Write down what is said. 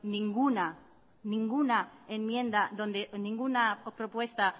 ninguna propuesta